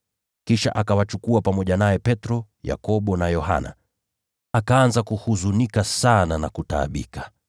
Kisha akawachukua pamoja naye Petro, Yakobo na Yohana. Akaanza kuhuzunika sana na kutaabika.